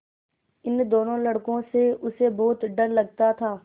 इन दोनों लड़कों से उसे बहुत डर लगता था